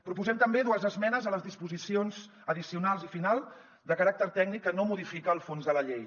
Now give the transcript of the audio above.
proposem també dues esmenes a les disposicions addicionals i final de caràcter tècnic que no modifiquen el fons de la llei